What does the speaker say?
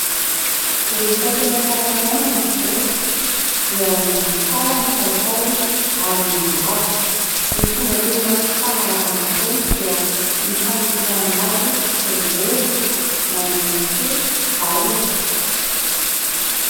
Rehefa tena karakaraina ny volo dia mihatsara ny kalitaony ary mihalava. Ny fomba tena fanalavana volo dia ny fanosorana azy tongolo na ihany koa vahona.